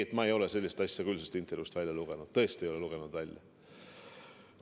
Ei, sellist asja ma küll sellest intervjuust välja ei lugenud, tõesti ei lugenud välja.